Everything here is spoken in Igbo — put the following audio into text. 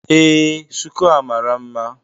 Ee, shuku a mara mma